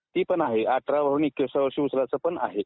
ते पण आहे अठरा पर्यंत भरून एकविसाव्या वर्षी उचलायचं पण आहे